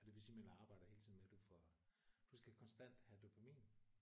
Og det vil sige man arbejder hele tiden med du får du skal konstant have dopamin